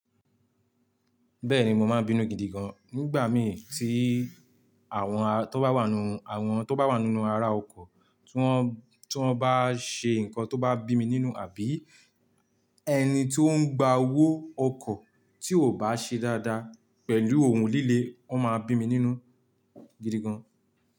Bẹ́ẹ̀ni mo máa bínú gidi gan nígbà mí tí àwọn tó bá wà nu àwọn tó bá wà nu ara ọkọ̀ tí wọ́n, tí wọ́n bá ṣe ǹkan tó bá bí mi nínú àbí ẹni tí ó ń gba owó ọkọ̀ tí ò bá ṣe dáadáa pẹ̀lú òhun líle ó máa bí mi nínú gidi gan.